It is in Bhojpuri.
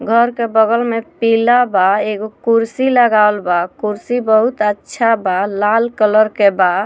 घर के बगल में पीला बा एगो कुर्सी लगावल बा कुर्सी बहुत अच्छा बा लाल कलर के बा।